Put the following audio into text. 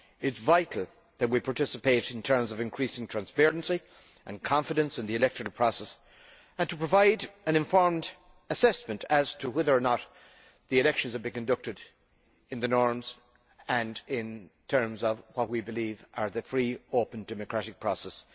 It is vital that we participate in terms of increasing transparency and confidence in the electoral process and provide an informed assessment as to whether or not the elections have been conducted according to the norms and in terms of what we believe to be the free, open democratic process.